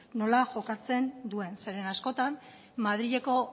nola jokatzen duen zeren askotan madrileko